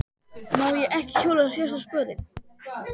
Má ég ekki hjóla síðasta spölinn?